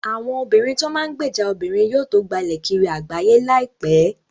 Àwọn obìrin tó n máa gbèjà obìnrin yóò tó gbalẹ̀ kiri àgbáyé láìpẹ́